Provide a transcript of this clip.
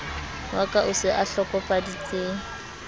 wa ka o se ahlokofaditse